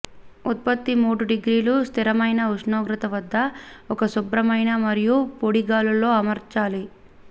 ఉత్పత్తి మూడు డిగ్రీల స్థిరమైన ఉష్ణోగ్రత వద్ద ఒక శుభ్రమైన మరియు పొడి గాలిలో అమర్చాలి